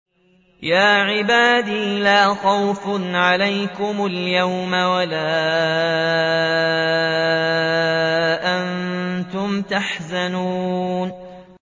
يَا عِبَادِ لَا خَوْفٌ عَلَيْكُمُ الْيَوْمَ وَلَا أَنتُمْ تَحْزَنُونَ